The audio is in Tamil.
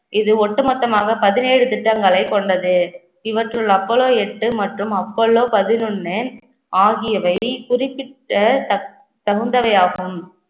இது ஒட்டுமொத்தமாக பதினேழு திட்டங்களைக் கொண்டது. இவற்றுள் அப்போலோ எட்டு மற்றும் அப்போலோ பதினொன்று ஆகியவை குறிப்பிட்ட தக்~ தகுந்தவையாகும்